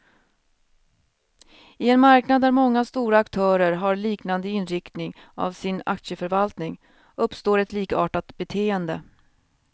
I en marknad där många stora aktörer har liknande inriktning av sin aktieförvaltning, uppstår ett likartat beteende.